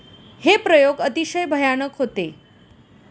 हे प्रयोग अतिशय भयानक होते.